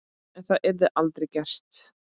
En það yrði aldrei gert.